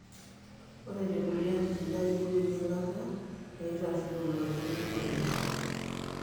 ore tekulie atitin, na iyieu eyiangata peitario oloito lenkorong.